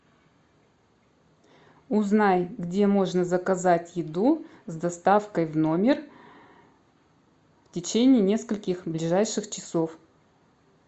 узнай где можно заказать еду с доставкой в номер в течение нескольких ближайших часов